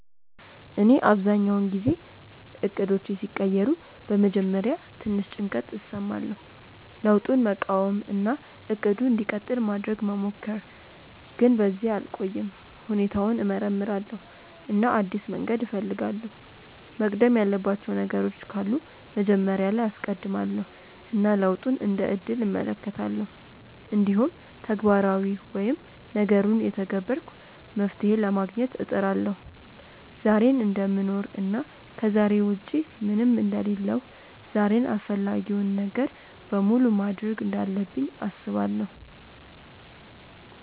እኔ አብዛኛውን ጊዜ እቅዶቼ ሲቀየሩ በመጀመሪያ ትንሽ ጭንቀት እሰማለሁ፣ ለውጡን መቃወም እና “እቅዱ እንዲቀጥል” ማድረግ መሞከር፣ ግን በዚያ አልቆይም። ሁኔታውን እመርምራለሁ እና አዲስ መንገድ እፈልጋለሁ፤ መቅደም ያለባቸው ነገሮች ካሉ መጀመሪያ ላይ አስቀድማለው እና ለውጡን እንደ እድል እመለከታለሁ። እንዲሁም ተግባራዊ ወይም ነገሩን እየተገበርኩ መፍትሄ ለማግኘት እጥራለሁ። ዛሬን እደምኖር እና ከዛሬ ውጪ ምንም አንደ ሌለሁ ዛሬን አፈላጊውን ነገር በሙሉ ማድርግ እንዳለብኝ አስባለው።